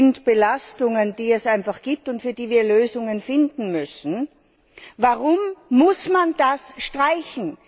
Das sind Belastungen, die es einfach gibt, und für die wir Lösungen finden müssen. Warum muss man das streichen?